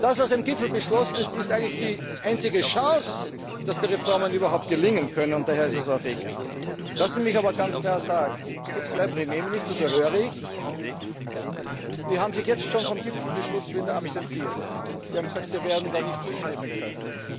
Das, was beim Gipfel beschlossen wurde, ist eigentlich die einzige Chance, dass die Reformen überhaupt gelingen können, und daher ist es auch richtig. Lassen Sie mich aber ganz klar sagen Es gibt zwei Premierminister so höre ich die sich jetzt schon vom Gipfelbeschluss wieder absentiert haben, die gesagt haben, sie werden da nicht zustimmen können.